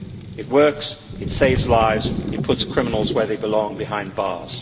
It works, it saves lives, it puts criminals where they belong behind bars.